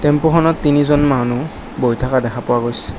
Tempo খনত তিনিজন মানুহ বহি থাকা দেখা পোৱা গৈছে।